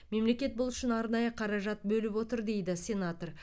мемлекет бұл үшін арнайы қаражат бөліп отыр дейді сенатор